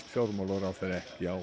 fjármálaráðherra ekki á